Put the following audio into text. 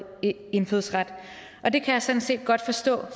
indfødsret og det kan jeg sådan set godt forstå